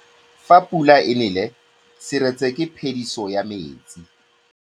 Fa pula e nelê serêtsê ke phêdisô ya metsi.